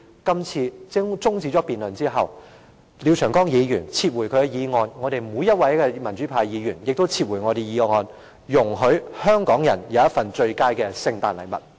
我也希望廖長江議員在辯論中止後，撤回他的決議案，而民主派議員也撤回我們的決議案，給香港人一份最佳的聖誕禮物。